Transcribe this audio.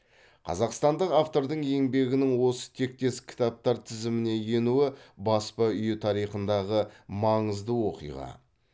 қазақстандық автордың еңбегінің осы тектес кітаптар тізіміне енуі баспа үйі тарихындағы маңызды оқиға